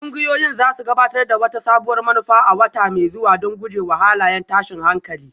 Ƙungiyoyin za su gabatar da wata sabuwar manufa a wata mai zuwa don guje wa halayen tashin hankali